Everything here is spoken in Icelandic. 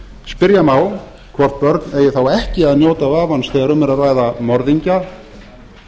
spyrja má hvort börn eigi þá ekki að njóta vafans þegar um er að ræða morðingja